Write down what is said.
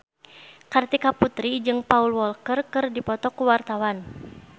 Kartika Putri jeung Paul Walker keur dipoto ku wartawan